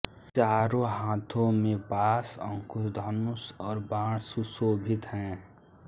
चारों हाथों में पाश अंकुश धनुष और बाण सुशोभित हैं